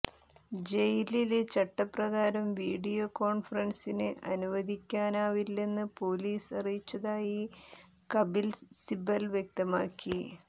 ജയില് ചട്ടപ്രകാരം വീഡിയോകോൺഫറൻസിന് അനുവദിക്കാനാവില്ലെന്ന് പോലീസ് അറിയിച്ചതായി കബിൽ സിബൽ വ്യക്തമാക്കി